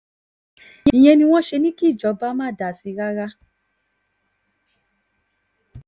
ìyẹn ni wọ́n ṣe ní kíjọba má dá sí i rárá